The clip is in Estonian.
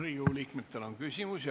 Riigikogu liikmetel on küsimusi.